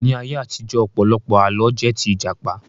Ní ayé àtijọ́, ọ̀pọ̀lọpọ̀ Àlọ́ jẹ́ tí Ìjàpá